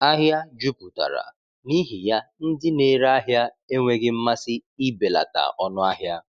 Ahịa jupụtara, n’ihi ya ndị na-ere ahịa enweghị mmasị ibelata ọnụ ahịa.